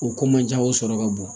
O ko man ja o sɔrɔ ka bon